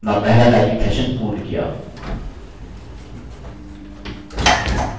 teachers line को देखकर type करें और अपना पहला typing सेशन पूर्ण किया